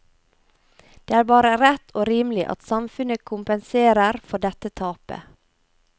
Det er bare rett og rimelig at samfunnet kompenserer for dette tapet.